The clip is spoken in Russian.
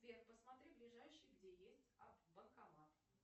сбер посмотри ближайший где есть банкомат